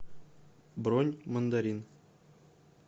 бронь мандарин